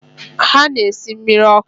Ha na-esi mmiri ọkụ.